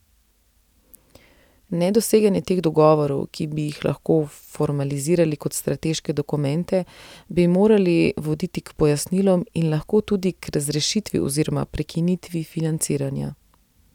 Nedoseganje teh dogovorov, ki bi jih lahko formalizirali kot strateške dokumente, bi moralo voditi k pojasnilom in lahko tudi k razrešitvi oziroma prekinitvi financiranja.